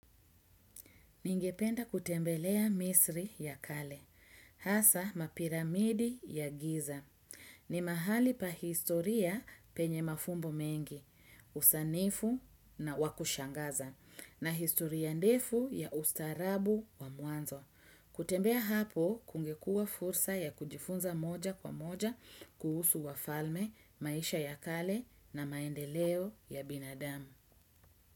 Ningependa kutembelea misri ya kale, hasa mapiramidi ya giza. Ni mahali pa historia penye mafumbo mengi, usanifu na wakushangaza, na historia ndefu ya ustarabu wa muanzo. Kutembea hapo kungekua fursa ya kujifunza moja kwa moja kuhusu wafalme, maisha ya kale na maendeleo ya binadamu.